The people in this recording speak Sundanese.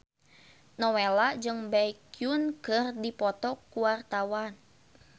Nowela jeung Baekhyun keur dipoto ku wartawan